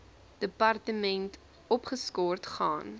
departement opgeskort gaan